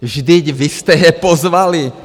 Vždyť vy jste je pozvali!